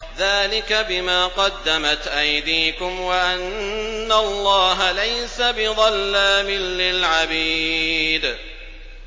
ذَٰلِكَ بِمَا قَدَّمَتْ أَيْدِيكُمْ وَأَنَّ اللَّهَ لَيْسَ بِظَلَّامٍ لِّلْعَبِيدِ